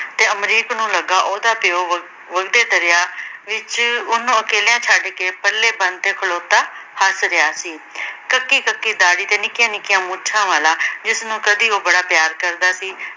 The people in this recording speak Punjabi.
ਤੇ ਅਮਰੀਕ ਨੂੰ ਲੱਗਾ ਉਹਦਾ ਤਿਉ ਵਗਦੇ ਦਰਿਆ ਵਿੱਚ ਉਹਨੂੰ ਅਕੇਲਿਆ ਛੱਡ ਕੇ ਪਲੇ ਬੰਨ ਤੇ ਖਲੋਤਾ ਹੱਸ ਰਿਹਾ ਸੀ। ਸਕੀ-ਸਕੀ ਦਾੜੀ ਤੇ ਨਿੱਕੀਆਂ-ਨਿੱਕੀਆਂ ਮੁੱਛਾਂ ਵਾਲਾ, ਜਿਸਨੂੰ ਕਦੀ ਉਹ ਬੜਾ ਪਿਆਰ ਕਰਦਾ ਸੀ।